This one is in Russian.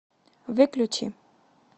выключи